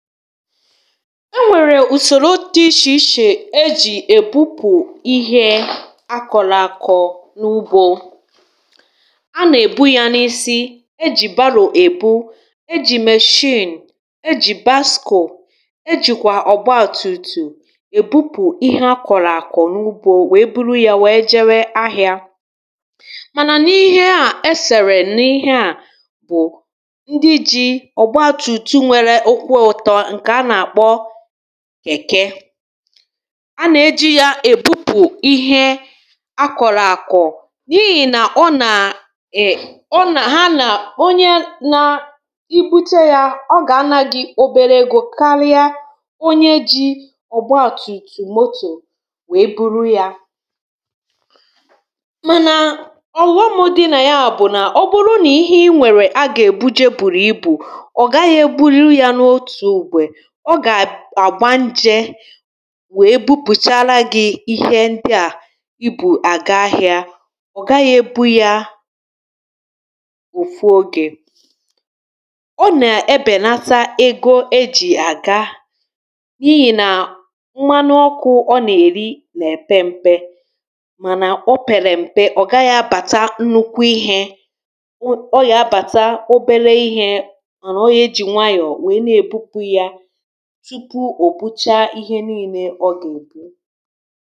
enwèrè ùsòro dị ịshè ịshè ejì èbupù ihe akọ̀lọ̀ àkọ̀ n’ubȯ a na-èbu yȧ n’isi, ejì barò ebu, ejì mèshịǹ, ejì baskò ejìkwà ọ̀gbaȧ tùtù èbupù ihe akọ̀lọ̀ àkọ̀ n’ubȯ wèe buru yȧ wèe jewe ahị̇ȧ mànà n’ihe a esèrè n’ihe a bụ̀ ndị ji ọ̀gbaȧ tùtù nwere kèke a nà-eji̇ ya èbupù ihe a kọ̀lọ̀ àkọ̀ n’ihì nà ọ nà ha nà onye nȧ ibute yȧ ọ gà-anȧ gị̇ obere egȯ karịa onye ji̇ ọ̀gbọ àtùtù motò wèe buru yȧ mànà ọ̀ghọmụ̇ dị̇ nà ya bụ̀ nà ọ bụrụ nà ihe i nwèrè a gà-èbuje bùrù ibù ọ gà àgba nje wee bupùchaala gị̇ ihe ndị à i bù àga ahị̇ȧ ọ̀ gaghị ebu ya òfu ogè ọ nà ebènata ego e jì àga n’ihì nà mmanu ọkụ̇ ọ nà-èri nà-èpe mpe mànà o pèrè m̀pe ọ̀ gaghị abàta nnukwu ihė ọ gà-abàta obere ihė mànà o yȧ eji̇ nwayọ̀ tupu ụbụchà ihe niile ọ gà-èbụ̀